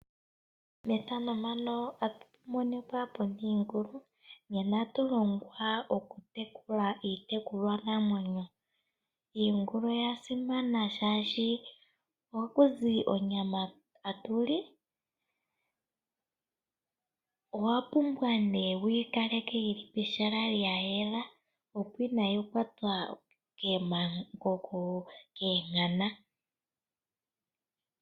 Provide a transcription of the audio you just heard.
Iingulu, nena atu longwa oku tekula itekulwa namwenyo. Iingulu oya simana shashi aku zi onyama hatuli. Owa pumbwa ne wuyi kaleke pehala lyayela opo inayi kwatwa kemakoko keenkana.